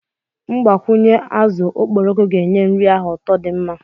mgbakwunye azụ okporoko ga-enye nri ahụ ụtọ di mma